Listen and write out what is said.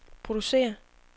producere